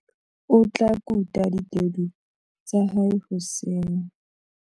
O tla kuta ditedu tsa hae hoseng.